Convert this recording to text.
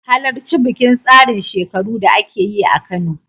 Halarci bikin tsarin shekaru da ake yi a Kano